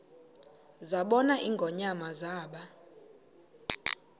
zabona ingonyama zaba